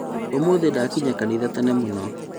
ũmũthĩ ndakinya kanitha tene mũno